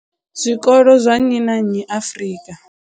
zwikolo zwa nnyi na nnyi Afrika.